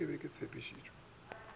ge ke be ke tshepišitše